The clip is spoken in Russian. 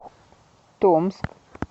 томск